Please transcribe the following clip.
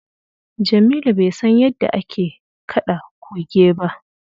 Jamilu bai san yadda ake kaɗa Kuge ba.